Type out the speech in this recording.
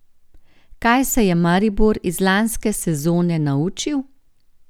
Kaj se je Maribor iz lanske sezone naučil?